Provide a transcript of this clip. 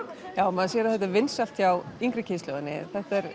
maður sér að þetta er vinsælt hjá yngri kynslóðinni